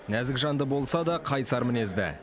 нәзік жанды болса да қайсар мінезді